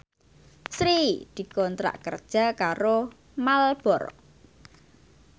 Sri dikontrak kerja karo Marlboro